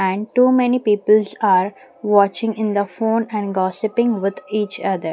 and too many peoples are watching in the phone and gossiping with each other.